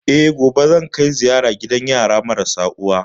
Eh, gobe zan kai ziyara gidan yara marasa uwa